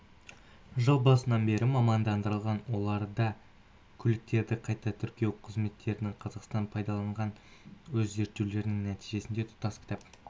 жыл басынан бері мамандандырылған оларда көліктерді қайта тіркеу қызметтерін қазақстандық пайдаланған өз зерттеулерінің нәтижесінде тұтас кітап